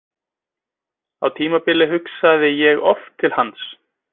Á tímabili hugsaði ég oft til hans.